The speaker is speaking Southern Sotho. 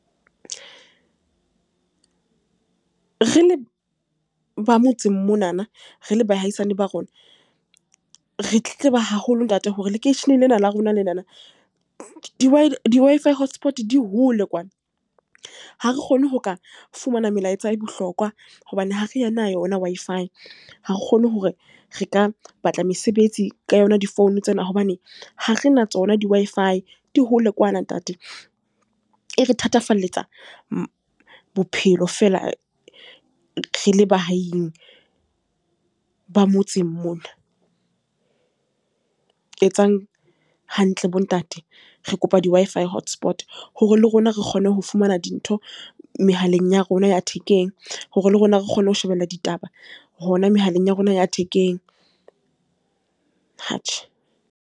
Re le ba motseng monana, re le bahaisane ba rona, re tletleba haholo ntate hore lekeisheneng lena la rona lenana, di Wi-Fi hotspot di hole kwana. Ha re kgone ho ka fumana melaetsa e bohlokwa hobane ha re na yona Wi-Fi, ha ke kgone hore re ka batla mesebetsi ka yona difoune tsena hobane ha re na tsona di Wi-Fi di hole kwana ntate, e re thatafalletsa bophelo feela re le ba ahing ba motseng mona, etsang hantle bo ntate. Re kopa di Wi-Fi hotspot hore le rona re kgone ho fumana dintho mehaleng ya rona ya thekeng, hore le rona re kgone ho shebella ditaba hona mehaleng ya rona ya thekeng atjhe.